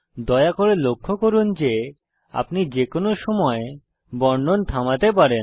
দয়া করে লক্ষ্য করুন যে আপনি যে কোনো সময় বর্ণন থামাতে পারেন